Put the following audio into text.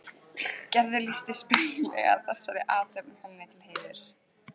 Gerður lýsti spaugilega þessari athöfn henni til heiðurs.